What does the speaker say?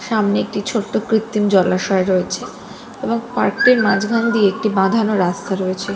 সামনে একটি ছোট্ট কৃত্তিম জলাশয় রয়েছে এবং পার্ক টির মাঝখান দিয়ে একটি বাঁধানো রাস্তা রয়েছে।